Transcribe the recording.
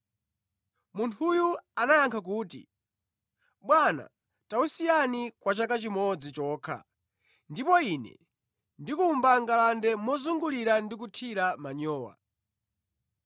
“Munthuyo anayankha kuti, ‘Bwana, tawusiyani kwa chaka chimodzi chokha ndipo ine ndikumba ngalande mozungulira ndi kuthira manyowa.